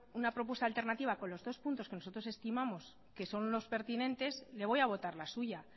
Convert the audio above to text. una propuesta alternativa con los dos puntos que nosotros estimamos que son los pertinentes le voy a votar la suya